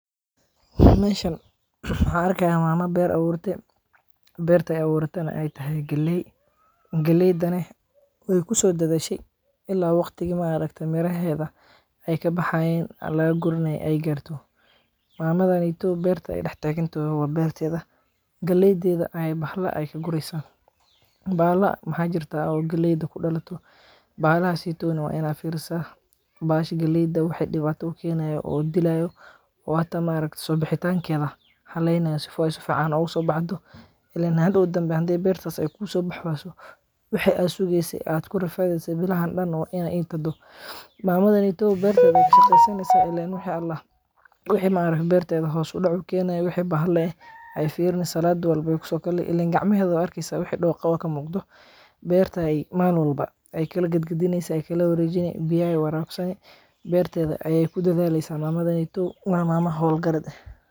Ha arkaya mamad beer awurte. Beertay awratan ay tahay galey. Galey daneh way ku soo dadashay ilaa waqtigii maareegta miraheda ay ka baxaayeen alla guriney ay gaarto. Maamadan iyo beerta dhex taagantoo waa beertyada galeydeeda ay bahal la ay guraysan. Baa la xajiirto oo galeyda ku dhawato. Baadhaasi toona waa inaa fiirsah baasha galeyda waxay dhibaatuu keenaya oo dilay u waata maarag sobixitaankeda halaynayo si fooyso facaan ugu soo bacdo. Ileen had u danbeeyan beerta ay kuu soo baxwaaso, wixi aasugeysay aad kula faaiideysay bilaha dhan waa inay iintado. Maamadan iyo beerta shakhsigeysa illaa wixii Allah. Wixii maarif beertay hawso dhucu keena wixii bahal leh ay fiirno salaa duwalba, wuxuu kala ilaa gacmehadda arkiisa wixii dhoqow ka mugdha. Beerta ay maalulba ay kala gedgedinaysa ay kala wareejiney biyaan waraaqsan beertayda ayay ku da'deellisa maamadan iyo mama hol garde.